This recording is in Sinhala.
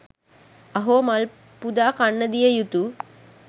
අහෝ මල් පුදා කන්න දිය යුතු